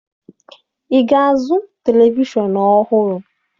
Ị ga-azụ televishọn ọhụrụ?